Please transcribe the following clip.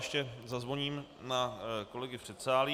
Ještě zazvoním na kolegy v předsálí.